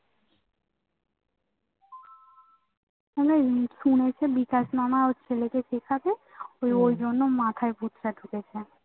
আরে কোন একটা বিকাশ মামা ওর ছেলেকে শিখাবে ওই ওই জন্য মাথায় ভুতটা ঢুকছে